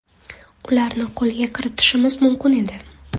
Ularni qo‘lga kiritishimiz mumkin edi.